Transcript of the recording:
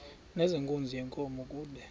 nezenkunzi yenkomo kude